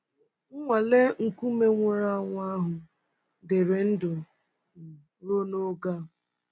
Nnwale nkume nwụrụ anwụ ahụ dịrị ndụ um ruo n’oge a.